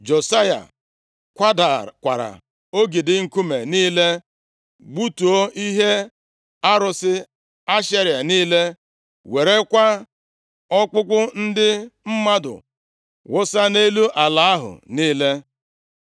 Josaya kwadakwara ogidi nkume niile, gbutuo ihe arụsị Ashera niile, werekwa ọkpụkpụ ndị mmadụ wụsa nʼelu ala ahụ niile.